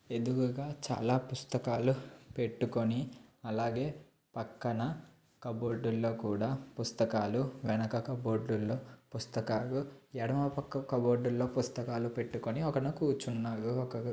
ఎదురుగా చాలా పుస్తకాలు పెట్టుకొని అలాగే పక్కన కప్బోర్డ్ లో కూడా పుస్తకాలు వెనక కప్బోర్డ్ లో పుస్తకాలు ఎడమ పక్క కప్బోర్డ్ లో పుస్తకాలు పెట్టుకొని ఒక అతను కూర్చున్నాడు. ఒకరు--